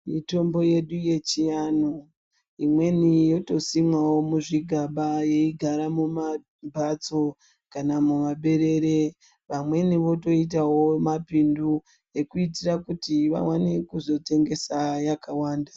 Mitombo yedu yechianhu imweni yotosimwawo muzvigaba yeyigara mumambatso kana mumaperere. Vamweni votoitawo mumapindu ekuitira kuti vaone kuzotengesawo yakawanda.